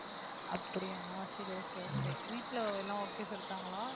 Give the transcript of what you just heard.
அப்படியா சரி okay, okay வீட்டுல எல்லாம் okay சொல்லிட்டாங்களா